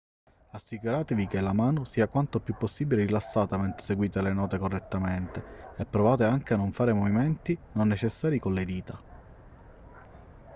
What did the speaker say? assicuratevi che la mano sia quanto più possibile rilassata mentre eseguite le note correttamente e provate anche a non fare movimenti non necessari con le dita